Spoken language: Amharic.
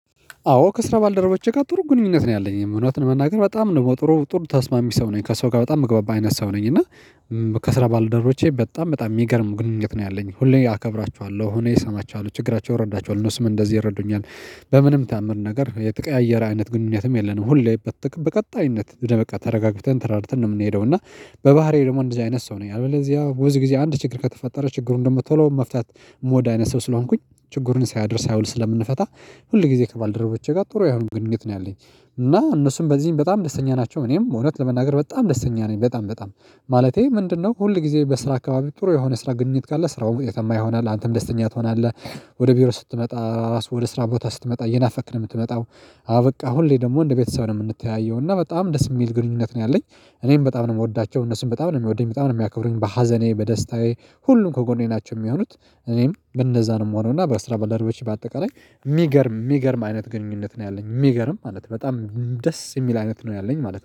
አዎ ከስራ ባልደረቦቼ ጋር ጥሩ ግንኙነት ነው ያለኝ እውነት ለመናገር በጣም ነው ጥሩ ጥሩ ተስማሚ ሰው ነኝ ከሰው ጋር በጣም ምግባባ አይነት ሰው ነኝ እና ከስራ ባልደረቦቼ በጣም በጣም የሚገርም ግንኙነት ነው ያለኝ ሁሌ አከብራችኋለሁ ሁሌ ሰማቸዋለሁ ችግራቸው እረዳቸዋለሁ ነው እነሱም እንደዚህ ይረዱኛል። በምንም ተአምር ነገር የተቀያየረ አይነት ግንኙነትም የለንም ሁሌ በቀጣይነት ደበቃ ተረጋግተን ተረዳድተን ነው የምንሄደው። እና በባህሪዬ ደግሞ እንደዚህ አይነት ሰው ነኝ። አለበዚያ ብዙ ጊዜ አንድ ችግር ከተፈጠረ ችግሩን ደግሞ ቶሎ መፍታት የምወድ አይነት ሰው ስለሆንኩኝ ችግሩን ሳያድር ሳያውል ስለምንፈታ ሁል ጊዜ ከባልደረቦቼ ጋር ጥሩ የሆነ ግንኙነት ነው ያለኝ። እና እነሱም በዚህም በጣም ደስተኛ ናቸው እኔም እውነት ለመናገር በጣም ደስተኛ ነኝ በጣም በጣም። ማለቴ ምንድነው ሁል ጊዜ በስራ አካባቢ ጥሩ የሆነ ስራ ግንኙነት ካለ ስራው ውጤታማ ይሆናል አንተም ደስተኛ ትሆናለህ። ወደ ቢሮ ስትመጣ ራሱ ወደ ስራ ቦታ ስትመጣ እየናፈክ ነው የምትመጣው። አበቃ ሁሌ ደግሞ እንደ ቤተሰብ ነው የምንተያየው እና በጣም ደስ የሚል ግንኙነት ነው ያለኝ። እኔም በጣም ነው የምወዳቸው እነሱም በጣም ነው የሚወዱኝ በጣም ነው የሚያከብሩኝ በሀዘኔ በደስታዬ ሁሉም ከጎኔ ናቸው የሚሆኑት። እኔም እንደዛ ነው የምሆነው እና በስራ ባልደረቦቼ በአጠቃላይ የሚገርም የሚገርም አይነት ግንኙነት ነው ያለኝ የሚገርም ማለት ነው። በጣም ደስ የሚል አይነት ነው ያለኝ ማለት ነው